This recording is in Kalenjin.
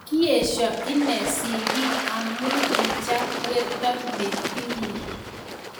Kiesha inee sigik amu kicham werto ne birir.